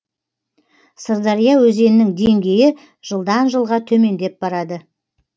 сырдария өзенінің деңгейі жылдан жылға төмендеп барады